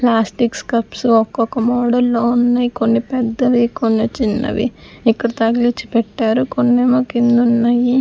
Plastics cups ఒక్కొక్క మోడల్లో ఉన్నాయి కొన్ని పెద్దవి కొన్ని చిన్నవి ఇక్కడ తగిలించి పెట్టారు కొన్నేమో కింద ఉన్నాయి.